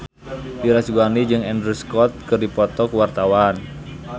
Dira Sugandi jeung Andrew Scott keur dipoto ku wartawan